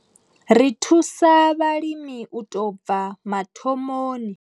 Ri thusa vhalimi u tou bva mathomoni.